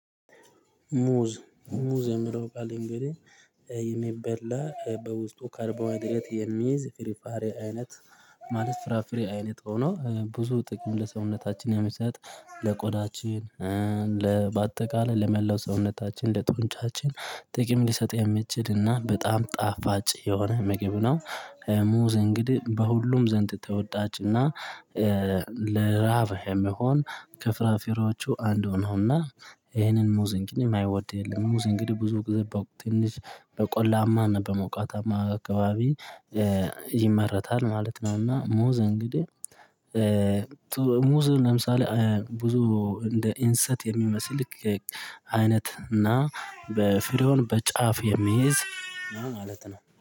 ሙዝ ሙዝ የሚለው ቃል እንግዲህ የሚበላ በውስጡ ካርባሀይድሬት የሚይዝ ፍራፍሪ አይነት ማለት ፍራፍሬ አይነት ሆኖ ብዙ ጥቅም ለሰውነታችን የሚሰጥ ለቆዳችን በአጠቃላይ ለመላው ሰውነታችን ለጦንቻችን ጥቅም ሊሰጥ የሚችልና በጣም ጣፋጭ የሆነ ምግብ ነው። ሙዝ እንግዲህ በሁሉም ዘንድ ተወዳጅና ለራሀብ የሚሆን ከፍራፍሬወቹ አንዱ ነው። እና ይሄንን ሙዝ እንግዲህ እማይወድ የለም። ሙዝ እንግዲህ ብዙ ጊዜ በቆላማ በሞቃታማ አካባቢ ይመረታል ማለት ነው። እና ሙዝ እንግዲህ ሙዝ ለምሳሌ ብዙ እንደ ኢንሰት የሚመስል አይነት እና ፍሬውን በጫፍ የሚይዝ ማለት ነው